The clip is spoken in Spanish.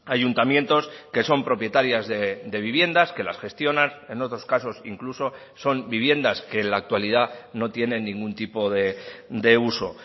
ayuntamientos que son propietarias de viviendas que las gestionan en otros casos incluso son viviendas que en la actualidad no tienen ningún tipo de uso